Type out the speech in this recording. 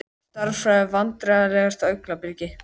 Stærðfræði Vandræðalegasta augnablikið?